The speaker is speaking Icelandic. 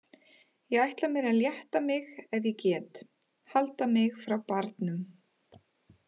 Ég ætla mér að létta mig ef ég get, halda mig frá barnum!